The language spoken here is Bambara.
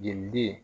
Jeliden